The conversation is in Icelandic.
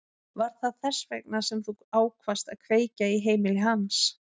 Var það þess vegna sem þú ákvaðst að kveikja í heimili hans?